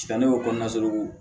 ne y'o kɔnɔna solo